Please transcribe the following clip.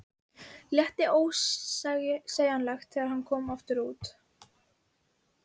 Létti ósegjanlega þegar hann kom aftur út.